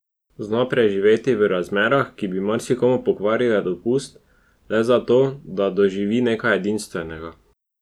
Zna preživeti v razmerah, ki bi marsikomu pokvarile dopust, le za to, da doživi nekaj edinstvenega.